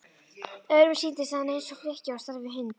Öðrum sýndist hann eins og flykki á stærð við hund.